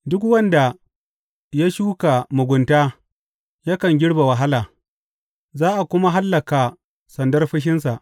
Duk wanda ya shuka mugunta yakan girbe wahala, za a kuma hallaka sandar fushinsa.